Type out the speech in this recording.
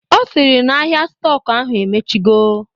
Ọ sịrị na ahịa stọk ahụ emechigo